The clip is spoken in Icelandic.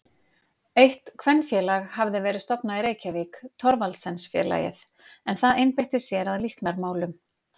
Eitt kvenfélag hafði verið stofnað í Reykjavík, Thorvaldsensfélagið, en það einbeitti sér að líknarmálum.